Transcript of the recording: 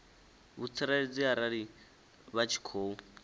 vhutsireledzi arali vha tshi khou